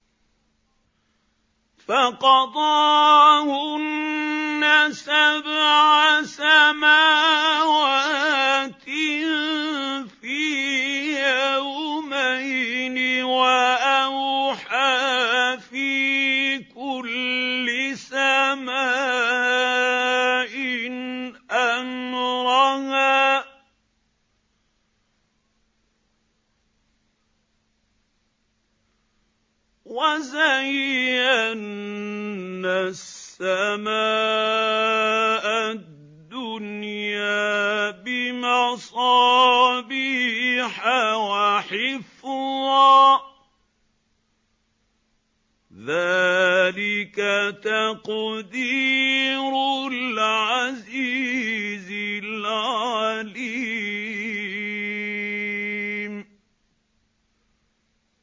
فَقَضَاهُنَّ سَبْعَ سَمَاوَاتٍ فِي يَوْمَيْنِ وَأَوْحَىٰ فِي كُلِّ سَمَاءٍ أَمْرَهَا ۚ وَزَيَّنَّا السَّمَاءَ الدُّنْيَا بِمَصَابِيحَ وَحِفْظًا ۚ ذَٰلِكَ تَقْدِيرُ الْعَزِيزِ الْعَلِيمِ